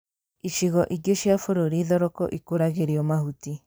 Icigo ingĩ cia bũrũri thoroko ikũragĩrio mahuti